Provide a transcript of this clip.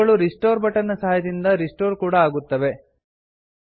ಇವುಗಳು restore button ನ ಸಹಾಯದಿಂದ ರಿಸ್ಟೋರ್ ಕೂಡಾ ಆಗುತ್ತವೆ